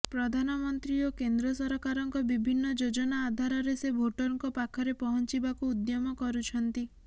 ପ୍ରଧାନମନ୍ତ୍ରୀ ଓ କେନ୍ଦ୍ର ସରକାରଙ୍କ ବିଭିନ୍ନ ଯୋଜନା ଆଧାରରେ ସେ ଭୋଟରଙ୍କ ପାଖରେ ପଂହଚିବାକୁ ଉଦ୍ୟମ କରୁଛନ୍ତି